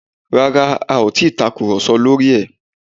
Rárá, a ò ti ì tàkùrọ̀sọ lórí ẹ̀